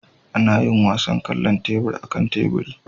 Ana yin wasan kwallon tebur akan teburi